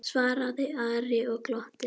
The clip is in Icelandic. svaraði Ari og glotti.